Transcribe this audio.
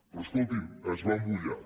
però escolti’m es va mullar